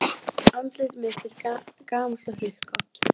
Að hann hefði misþyrmt föður Maríu.